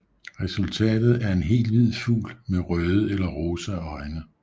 Resultatet er en helt hvid fugl med røde eller rosa øjne